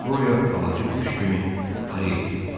Qoriyo alıcı quş kimi ayıq idi.